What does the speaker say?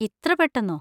ഇത്ര പെട്ടന്നോ!